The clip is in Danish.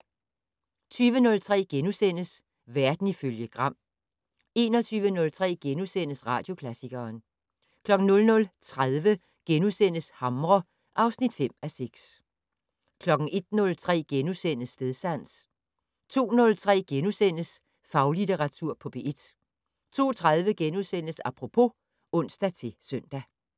20:03: Verden ifølge Gram * 21:03: Radioklassikeren * 00:30: Hamre (5:6)* 01:03: Stedsans * 02:03: Faglitteratur på P1 * 02:30: Apropos *(ons-søn)